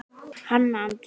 Hanna Andrea.